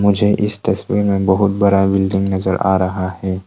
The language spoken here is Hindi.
मुझे इस तस्वीर में बहुत बड़ा बिल्डिंग नजर आ रहा है।